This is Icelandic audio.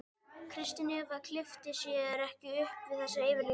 Kristín Eva kippti sér ekki upp við þessa yfirlýsingu.